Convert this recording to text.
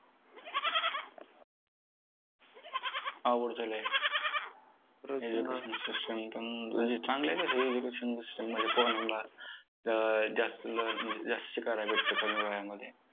अवघड झालंय! education system पण, म्हणजे चांगलं आहे तशी education system म्हणजे पोरांना अं जास्त learn म्हणजे जास्त शिकायला भेटतं, कमी वयामध्ये!